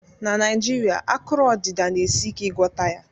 Na Naijirịa, akụrụ odịda na-esi ike ịgwọta ya